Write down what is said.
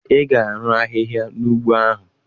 Ị ga-arụ ahịhịa n'ugbo ahụ!